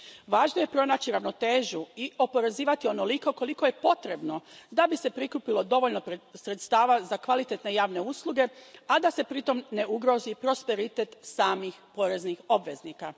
Važno je pronaći ravnotežu i oporezivati onoliko koliko je potrebno da bi se prikupilo dovoljno sredstava za kvalitetne javne usluge, a da se pritom ne ugrozi prosperitet samih poreznih obveznika.